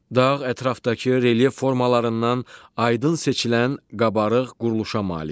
Dağ ətrafdakı relyef formalarından aydın seçilən qabarıq quruluşa malikdir.